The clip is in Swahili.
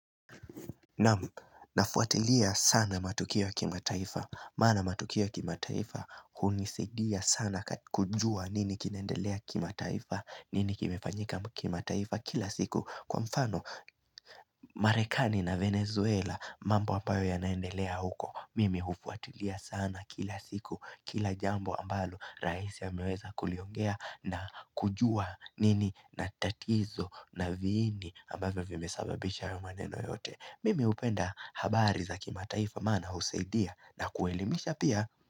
Naam, nafuatilia sana matukio kima taifa maana matukio kimataifa Hunisidia sana kujua nini kinendelea kimataifa nini kimefanyika kimataifa kila siku Kwa mfano, Marekani na Venezuela mambo ambayo ya naendelea huko Mimi ufuatilia sana kila siku Kila jambo ambalo raisi ya ameweza kuliongea na kujua nini na tatizo na viini ambaye vimesababisha yamaneno yote Mimi upenda habari za kima taifa mana usaidia na kuelimisha pia.